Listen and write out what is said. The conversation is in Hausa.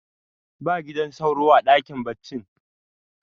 ba gidan sauro a dakin baccin